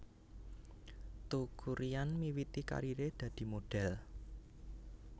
Teuku Ryan miwiti kariré dadi modhél